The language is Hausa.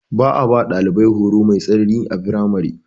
Ba a ba ɗalibai horo mai tsanani a firamare.